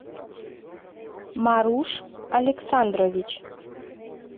маруш александрович